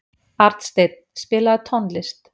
Arnsteinn, spilaðu tónlist.